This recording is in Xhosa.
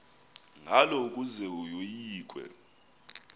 ngalo ukuze yoyikwe